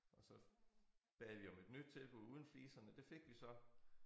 Og så bad vi om et nyt tilbud uden fliserne det fik vi så